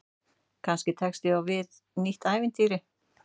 Kannski tekst ég á við nýtt ævintýri.